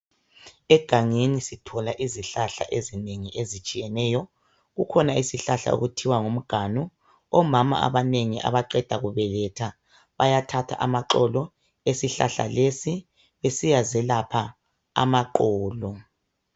Egangeni sithola izihlahla ezinengi ezitshiyeneyo kukhona sihlahla okuthiwa ngumganu omama abanengi abaqeda kubeletha bayathatha amaxolo esihlahla lesi esiyazelapha amaxolo